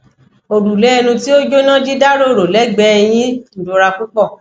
orule enu ti o jona dida roro legbee eyyin irora pupo